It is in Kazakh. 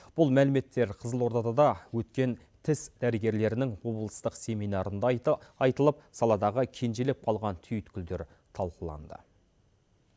бұл мәліметтер қызылордада өткен тіс дәрігерлерінің облыстық семинарында айтылып саладағы кенжелеп қалған түйткілдер талқыланды